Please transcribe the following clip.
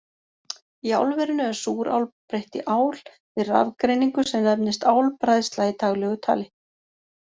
Í álverinu er súrál breytt í ál við rafgreiningu, sem nefnist álbræðsla í daglegu tali.